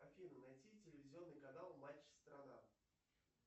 афина найти телевизионный канал матч страна